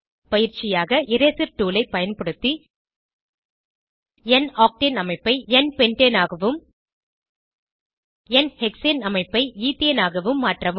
பயிற்சியாக eraser tool ஐ பயன்படுத்தி என் ஆக்டேன் அமைப்பை என் பென்டேன் ஆகவும் என் ஹெக்சேன் அமைப்பை ஈத்தேன் ஆகவும் மாற்றவும்